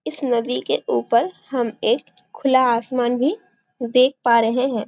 इस नदी के ऊपर हम एक खुला आसमान भी देख पा रहे है।